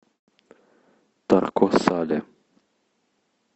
тарко сале